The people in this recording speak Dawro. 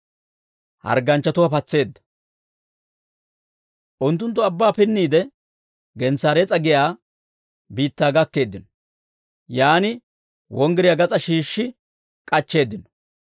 Unttunttu abbaa pinniide, Gensaarees'a giyaa biittaa gakkeeddino; yaan wonggiriyaa gas'aa shiishshi k'achcheeddino.